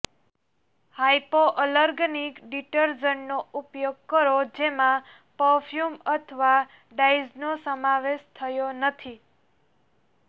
hypoallergenic ડિટરજન્ટનો ઉપયોગ કરો જેમાં પર્ફ્યુમ અથવા ડાયઝનો સમાવેશ થતો નથી